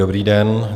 Dobrý den.